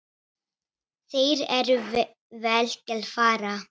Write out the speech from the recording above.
Þeir eru vel til fara.